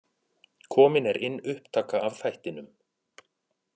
Komin er inn upptaka af þættinum.